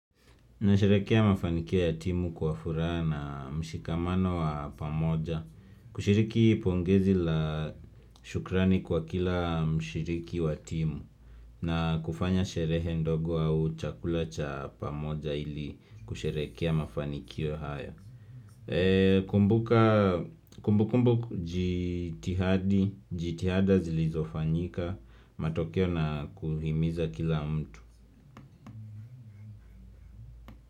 Nasherehekea mafanikio ya timu kwa furaha na mshikamano wa pamoja. Kushiriki pongezi la shukrani kwa kila mshiriki wa timu. Na kufanya sherehe ndogo au chakula cha pamoja ili kusherehekea mafanikio haya. Eee kumbuka kumbu kumbu jitihadi jitihada zilizofanyika matokeo na kuhimiza kila mtu.